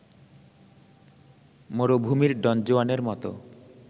মরুভূমির ডনজুয়ানের মত